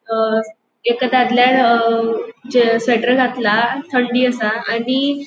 अ एक दादल्यान अ स्वेटर घेतला थन्डी आसा आणि --